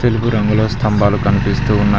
తెలుపు రంగులో స్తంబాలు కనిపిస్తూ ఉన్నాయి.